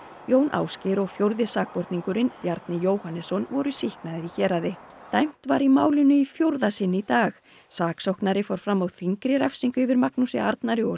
Jón Ásgeir og fjórði sakborningurinn Bjarni Jóhannesson voru sýknaðir í héraði dæmt var í málinu í fjórða sinn í dag saksóknari fór fram á þyngri refsingu yfir Magnúsi Arnari og